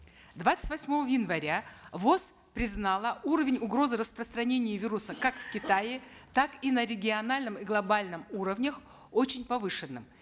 двадцать восьмого января воз признало уровень угрозы распространения вируса как в китае так и на региональном и глобальном уровнях очень повышенным